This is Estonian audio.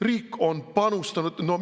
Riik on panustanud.